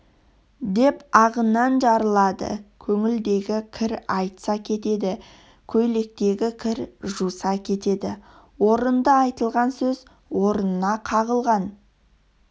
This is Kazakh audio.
деп ағынан жарылады көңілдегі кір айтса кетеді көйлектегі кір жуса кетеді орынды айтылған сөз орнына қағылған